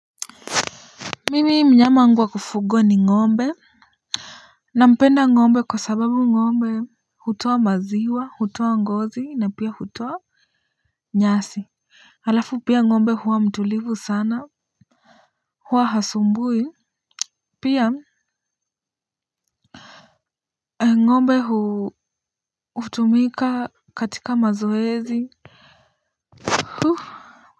Mimi mnyama wangu wa kufugwa ni ngombe na mpenda ngombe kwa sababu ngombe hutoa maziwa hutoa ngozi na pia hutoa nyasi. Halafu pia ng'ombe huwa mtulivu sana huwa hasumbui. Pia ng'ombe hutumika katika mazoezi.